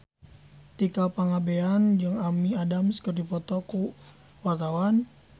Tika Pangabean jeung Amy Adams keur dipoto ku wartawan